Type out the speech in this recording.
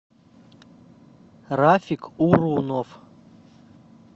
рафик урунов